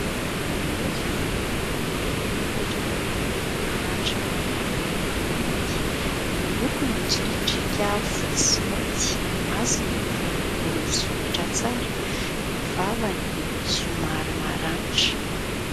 Voromahery vorona lehibe mipetraka amin'ny ahitra maniry amin'ny tany. Ny lokony mitsoriadriaka fotsy sy mainty, ny masony boribory misokatra tsara, ny vavany somary maranitra.